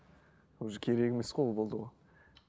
уже керек емес қой ол болды ғой